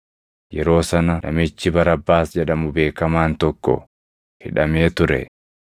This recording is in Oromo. Yeroo sana namichi Barabbaas jedhamu beekamaan tokko hidhamee ture.